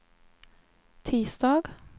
tisdag